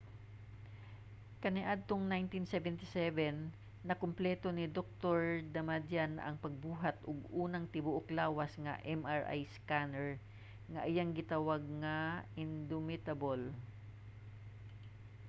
kaniadtong 1977 nakumpleto ni dr. damadian ang pagbuhat og unang tibuok-lawas nga mri scanner nga iyang gitawag nga indomitable